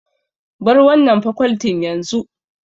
Bar wannan fakoltin yanzu!